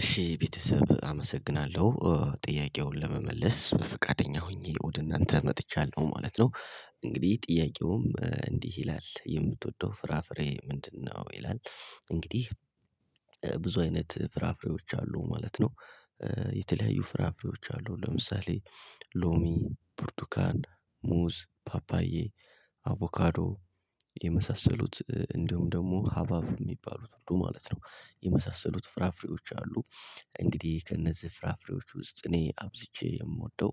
እሺ ቤተሰብ አመሰግናለሁ ጥያቄውን ለመመለስ ፍቃደኛ ሆኜ ወደ እናንተ መጥቻለሁ ማለት ነው እንግዲህ ጥያቄውም እንዲህ ይላል የምትወደው ፍራፍሬ ምንድነው ይላል? እንግዲህ ብዙ አይነት ፍራፍሬዎች አሉ ማለት ነው። የተለያዩ ፍራፍሬዎች አሉ ለምሳሌ ሎሚ ብርቱካን ሙዝ ፓፓዬ አቮካዶ የመሳሰሉት እንዲሁም ደግሞ ሀባብ የሚባሉት ሁሉ ማለት ነው የመሳሰሉት ፍራፍሬዎች አሉ። እንግዲህ ከእነዚህ ፍራፍሬዎች ውስጥ እኔ አብዝቼ የምወደው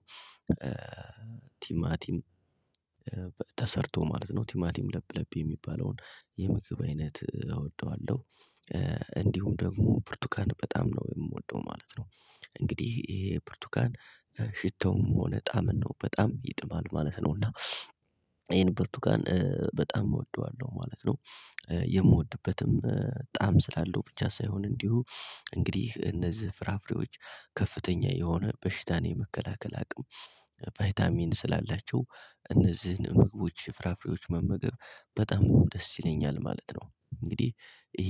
ቲማቲም ተሰርቶ ማለት ነው ቲማቲም ለብ ለብ የሚባለውን የምግብ አይነት እወደዋለሁ። እንዲሁም ደግሞ ብርቱካን በጣም ነው የምወደው ማለት ነው። እንግዲህ ይሄ ብርትኳን ሽታዉም ሆነ ጣም ነው በጣም ይጥማል ማለት ነው እና ይሄን ብርቱካን በጣም እወደዋለሁ ማለት ነው። የምወድበትም ጣዕም ስላለው ብቻ ሳይሆን እንዲሁ እንግዲህ እነዚህ ፍራፍሬዎች ከፍተኛ የሆነ በሽታን የመከላከል አቅም ቫይታሚን ስላላቸው እነዚህን ምግቦች ፍራፍሬዎች መመገብ በጣም ደስ ይለኛል ማለት ነው። እንግዲህ ይሄ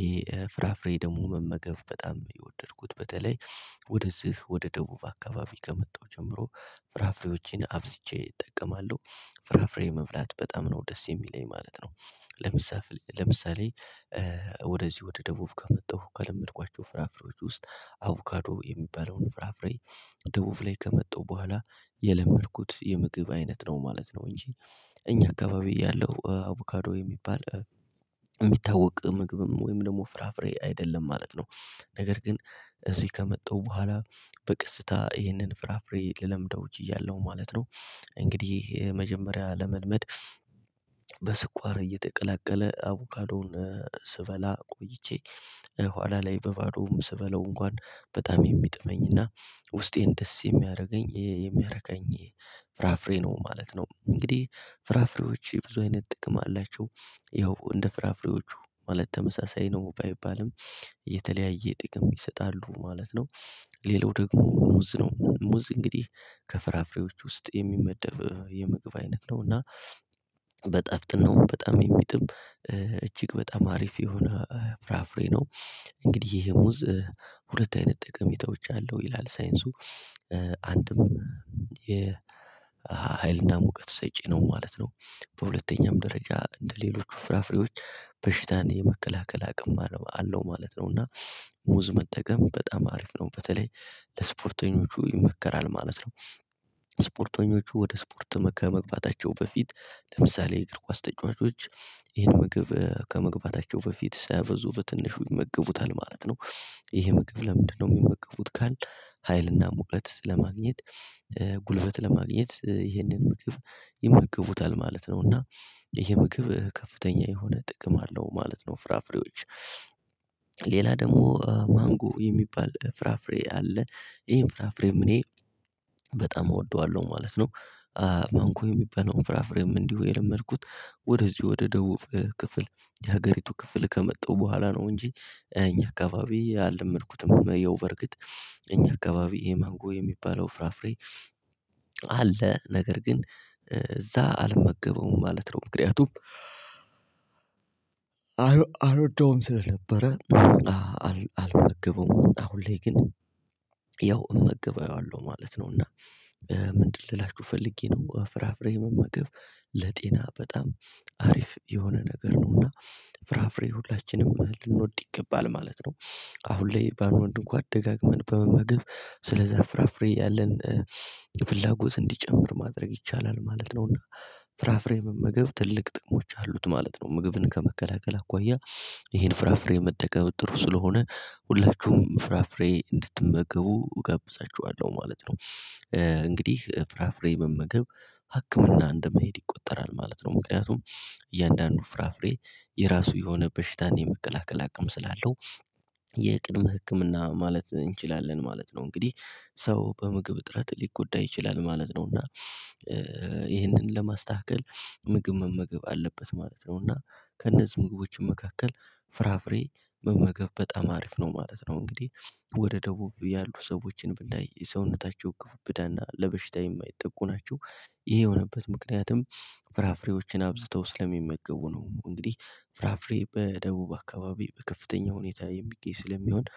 ፍራፍሬ ደግሞ መመገብ በጣም የወደድኩት በተለይ ወደዚህ ወደ ደቡብ አካባቢ ከመጣው ጀምሮ ፍራፍሬዎቼን አብዝቼ እጠቀማለሁ ፍራፍሬ መብላት በጣም ነው ደስ የሚለኝ ማለት ነው። ለምሳፍ ለምሳሌ ወደዚህ ወደ ደቡብ ከመጣሁ ከለመድኳቸው ፍራፍሬዎች ውስጥ አብካዶ የሚባለውን ፍራፍሬ ደቡብ ላይ ከመጣው በኋላ የለመድኩት የምግብ አይነት ነው ማለት ነው። እንጂ እኛ አካባቢ ያለው አቮካዶ የሚባል የሚታወቅ ምግብም ወይም ደግሞ ፍራፍሬ አይደለም ማለት ነው። ነገር ግን እዚህ ከመጣው በኋላ በቀስታ ይህንን ፍራፍሬ ልለምደው እችላለሁ ማለት ነው። እንግዲህ ይሄ መጀመሪያ ለመልመድ በስኳር እየተቀላቀለ አቮካዶን ስበላ ቆይቼ ኋላ ላይ በባዶም ስበላው እንኳን በጣም የሚጥመኝና ውስጤን ደስ የሚያደርገኝ የሚያረካኝ ፍራፍሬ ነው ማለት ነው። እንግዲህ ፍራፍሬዎች ብዙ አይነት ጥቅም አላቸው ያው እንደ ፍራፍሬዎቹ ማለት ተመሳሳይ ነው ባይባልም የተለያየ ጥቅም ይሰጣሉ ማለት ነው። ሌላው ደግሞ ሙዝ ነው ሙዝ እንግዲህ ከፍራፍሬዎች ውስጥ የሚመደብ የምግብ አይነት ነው እና በጠፍጥናው በጣም የሚጥም እጅግ በጣም አሪፍ የሆነ ፍራፍሬ ነው። እንግዲህ ይሄ ሙዝ ሁለት አይነት ጠቀሜታዎች አለው ይላል ሳይንሱ አንድም የሀይልና ሙቀት ሰጪ ነው ማለት ነው። በሁለተኛም ደረጃ እንደሌሎች ፍራፍሬዎች በሽታን የመከላከል አቅም አለው ማለት ነው እና ሙዝ መጠቀም በጣም አሪፍ ነው በተለይ ለስፖርተኞቹ ይመከራል ማለት ነው። ስፖርተኞቹ ወደ ስፖርት መግባታቸው በፊት ለምሳሌ የእግር ካስ ተጫዋቾች ይህን ምግብ ከመግባታቸው በፊት ሳያበዙ በትንሹ ይመገቡታል ማለት ነው። ይሄ ምግብ ለምንድነው የሚመገቡት ካልን ሀይልና ሙቀት ለማግኘት ጉልበት ለማግኘት ይሄንን ምግብ ይመገቡታል ማለት ነው። እና ይሄ ምግብ ከፍተኛ የሆነ ጥቅም አለው ማለት ነው። ፍራፍሬዎች ሌላ ደግሞ ማንጎ የሚባል ፍራፍሬ አለ ይሄም ፍራፍሬም እኔ በጣም እወደዋለሁ ማለት ነው። ማንጎ የሚባለውን ፍራፍሬም እንዲሁ የለመድኩት ወደዚህ ወደ ደቡብ ክፍል የሀገሪቱ ክፍል ከመጣው በኋላ ነው እንጂ እኛ አካባቢ አልመድኩትም ያው በርግጥ እኛ አካባቢ ይሄ ማንጎ የሚባለው ፍራፍሬ አለ ነገር ግን እዛ አልመገበውም ማለት ነው። ምክንያቱም አልወደውም ስለነበረ አልመግበውም አሁን ላይ ግን ያው እመግበዋለሁ ማለት ነው። እና ምንድን ልላችሁ ፈልጌ ነው ፍራፍሬ መመገብ ለጤና በጣም አሪፍ የሆነ ነገር ነው እና ፍራፍሬ ሁላችንም ልንወድ ይገባል ማለት ነው። አሁን ላይ ባንወንድ እንኳን ደጋግመን በመመገብ ስለዛ ፍራፍሬ ያለን የፍላጎት እንዲጨምር ማድረግ ይቻላል ማለት ነው። እና ፍራፍሬ መመገብ ትልቅ ጥቅሞች አሉት ማለት ነው። ምግብን ከመከላከል አኳያ ይሄን ፍራፍሬ የመጠቀም ጥሩ ስለሆነ ሁላችሁም ፍራፍሬ እንድትመገቡ እጋብዛችኋለሁ ማለት ነው። እንግዲህ ፍራፍሬ መመገብ ሀክምና እንደመሄድ ይቆጠራል ማለት ነው። ምክንያቱም እያንዳንዱ ፍራፍሬ የራሱ የሆነ በሽታ የመከላከል አቅም ስላለው የቅድመ ህክምና ማለት እንችላለን ማለት ነው። እንግዲህ ሰው በምግብ እጥረት ሊጎዳ ይችላል ማለት ነው። እና ይህንን ለማስተካከል ምግብ መመገብ አለበት ማለት ነው። እና ከእነዚህ ምግቦች መካከል ፍራፍሬ መመገብ በጣም አሪፍ ነው ማለት ነው። እንግዲህ ወደ ደቡብ ያሉ ሰዎችን ብናይ የሰውነታቸው ግብዳና ብዳና ለበሽታ የማይጠቁ ናቸው። ይሄ የሆነበት ምክንያትም ፍራፍሬዎችን አብዝተው ስለሚመገቡ ነው። እንግዲህ ፍራፍሬ በደቡብ አካባቢ በከፍተኛ ሁኔታ የሚቄ ስለሚሆን